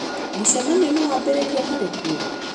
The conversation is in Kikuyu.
Mũcemanio no wambĩrĩrie atarĩ kuo?